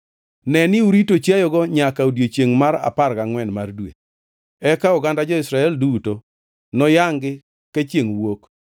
Neni urito chiayogo nyaka odiechiengʼ mar apar gangʼwen mar dwe, eka oganda jo-Israel duto noyangʼ-gi ka chiengʼ wuok.